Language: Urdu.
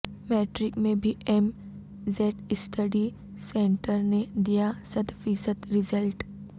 میٹرک میں بھی ایم زیڈ اسٹڈی سینٹر نے دیا صد فیصد رزلٹ